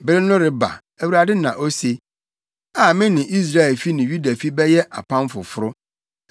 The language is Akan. “Bere no reba,” Awurade na ose, “a me ne Israelfi ne Yudafi bɛyɛ apam foforo.